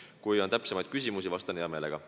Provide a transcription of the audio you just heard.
Kui on täpsustavaid küsimusi, siis vastan hea meelega.